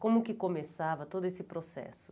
Como que começava todo esse processo?